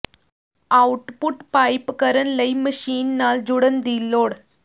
output pipe ਕਰਨ ਲਈ machine ਨਾਲ ਜੁੜਨ ਦੀ ਲੋੜ